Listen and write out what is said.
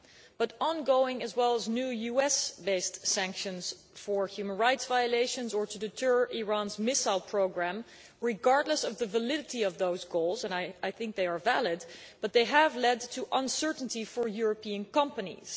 But ongoing as well as new US based sanctions for human rights violations or to deter Iran's missile programme regardless of the validity of those goals, and I think they are valid have led to uncertainty for European companies.